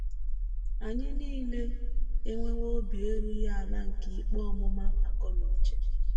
Anyị nile enwewo obi erughị ala nke ikpe ọmụma akọ na uche.